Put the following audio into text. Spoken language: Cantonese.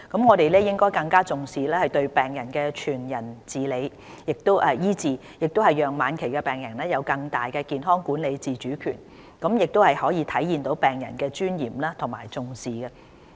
我們應更重視對病人的全人醫治，讓晚期病人有更大的健康管理自主權，體現對病人的尊嚴的重視。